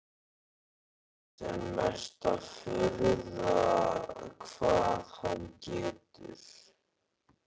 Annars er mesta furða hvað hann getur.